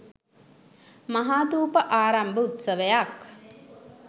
මහාථූප ආරම්භ උත්සවයක්